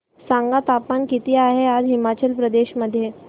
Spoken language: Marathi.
सांगा तापमान किती आहे आज हिमाचल प्रदेश मध्ये